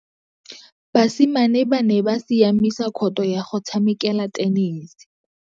Basimane ba ne ba siamisa khôtô ya go tshamekela thenese.